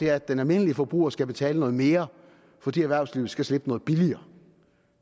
er at den almindelige forbruger skal betale noget mere fordi erhvervslivet skal slippe noget billigere